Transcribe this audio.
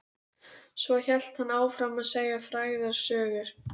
Svo hélt hann áfram að segja frægðarsögur.